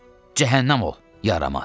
Cəhənnəm ol, yaramaz.